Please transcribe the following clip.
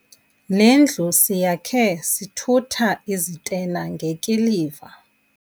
Le ndlu siyakhe sithutha izitena ngekiliva.